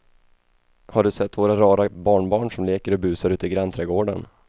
Har du sett våra rara barnbarn som leker och busar ute i grannträdgården!